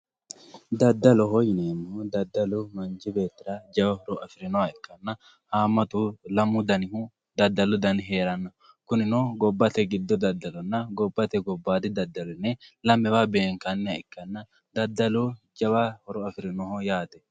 daddalo dadaloho yineemmohu manchi beettira jawa horo afirinoha ikkanna haammatu lamu danihu dadalu heeranno kunino gobbate gobba daddalonna gobbate giddoodi dadalo yinanni lamewa beenkanniha ikkanna dadalu jawa horo afirinoho yaate.